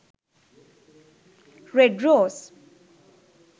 red rose